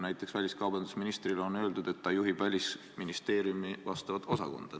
Näiteks väliskaubandusministrile on öeldud, et ta juhib Välisministeeriumi vastavat osakonda.